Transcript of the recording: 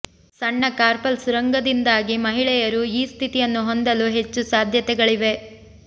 ಸಣ್ಣ ಕಾರ್ಪಲ್ ಸುರಂಗದಿಂದಾಗಿ ಮಹಿಳೆಯರು ಈ ಸ್ಥಿತಿಯನ್ನು ಹೊಂದಲು ಹೆಚ್ಚು ಸಾಧ್ಯತೆಗಳಿವೆ